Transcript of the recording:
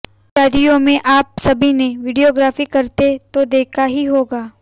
शादियों में आप सभी ने वीडियोग्राफी करते तो देखा ही होगा